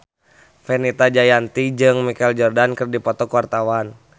Fenita Jayanti jeung Michael Jordan keur dipoto ku wartawan